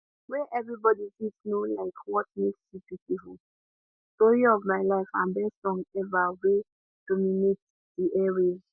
wey everybody fit know like what makes you beautiful story of my life and best song ever wey dominate di air waves